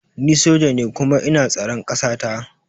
Ni soja ne kuma ina tsaran kasata